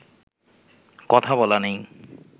কথা বলা নেই